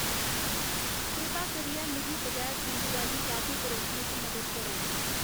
कृपा करियै मिगी बगैर खंडु आह्ली कॉफी परोसने च मदद करो